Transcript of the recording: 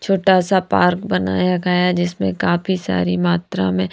छोटा सा पार्क बनाया गया जिसमें काफी सारी मात्रा में--